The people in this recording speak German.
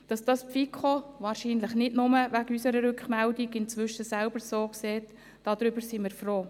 Darüber, dass das die FiKo wahrscheinlich nicht nur wegen unserer Rückmeldung inzwischen selber so sieht, sind wir froh.